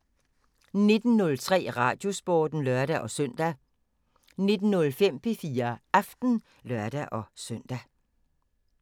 19:03: Radiosporten (lør-søn) 19:05: P4 Aften (lør-søn)